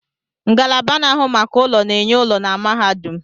Ngalaba na-ahụ maka ụlọ na-enye ụlọ na mahadum